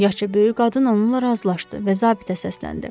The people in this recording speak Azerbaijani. Yaşca böyük qadın onunla razılaşdı və zabitə səsləndi.